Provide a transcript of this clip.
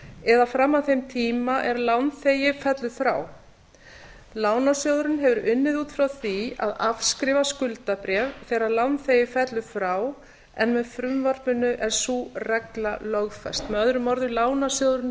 eða fram að þeim tíma er lánþegi fellur frá lánasjóðurinn hefur unnið út frá því að afskrifa skuldabréf þegar lánþegi fellur frá en með frumvarpinu er sú regla lögfest möo lánasjóðurinn